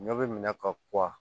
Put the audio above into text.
Ɲɔ bɛ minɛ ka kuwa